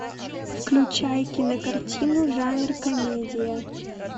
включай кинокартину жанр комедия